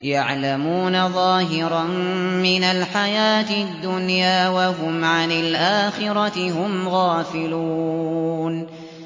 يَعْلَمُونَ ظَاهِرًا مِّنَ الْحَيَاةِ الدُّنْيَا وَهُمْ عَنِ الْآخِرَةِ هُمْ غَافِلُونَ